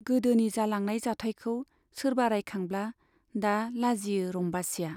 गोदोनि जालांनाय जाथाइखौ सोरबा रायखांब्ला दा लाजियो रम्बासीया।